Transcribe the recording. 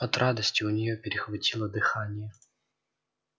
от радости у неё перехватило дыхание